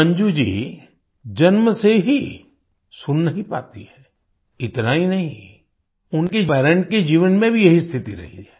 मंजू जी जन्म से ही सुन नहीं पाती है इतना ही नहीं उनके पेरेंट्स के जीवन में भी यही स्थिति रही है